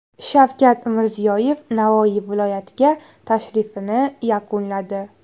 Shavkat Mirziyoyev Navoiy viloyatiga tashrifini yakunladi.